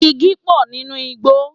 Igi pò nínú igbó.